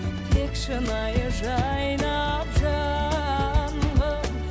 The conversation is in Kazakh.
тек шынайы жайнап жаным